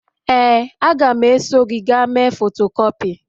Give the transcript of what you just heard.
Ee, a ga m eso gị gaa mee fotokupi